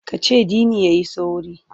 Ka cewa Dini ya yi sauri!